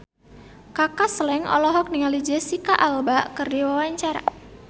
Kaka Slank olohok ningali Jesicca Alba keur diwawancara